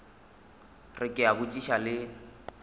re ke a botšiša le